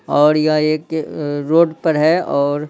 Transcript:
और यह एक रोड पर हैऔर--